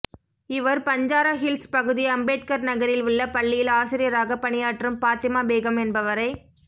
இவர் பஞ்சாரஹில்ஸ் பகுதி அம்பேத்கர் நகரில் உள்ள பள்ளியில் ஆசிரியராக பணியாற்றும் பாத்திமா பேகம் என்பவரை